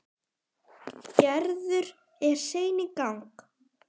Gerður er sein í gang.